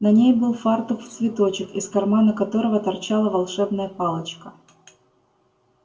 на ней был фартук в цветочек из кармана которого торчала волшебная палочка